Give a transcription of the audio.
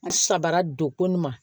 N sabara don ko n ma